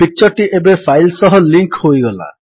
picture ଟି ଏବେ file ସହ ଲିଙ୍କ୍ ହୋଇଗଲା